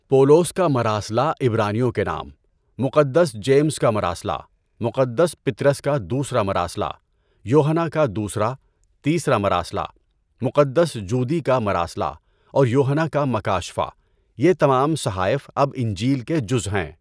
پولوس کا مراسلہ عبرانیوں کے نام، مقدس جیمز کا مراسلہ، مقدس پطرس کا دوسرا مراسلہ، یوحنا کا دوسرا، تیسرا مراسلہ، مقدس جودی کا مراسلہ اور یوحنا کا مکاشفہ، یہ تمام صحائف اب انجیل کے جزو ہیں۔